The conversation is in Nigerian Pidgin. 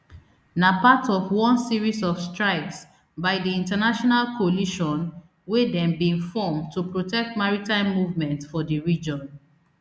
na part of one series of strikes by di international coalition wey dem bin form to protect maritime movement for di region